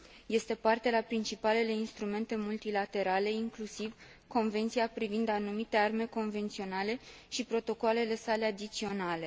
Este parte la principalele instrumente multilaterale, inclusiv la Convenția privind anumite arme convenționale și protocoalele sale adiționale.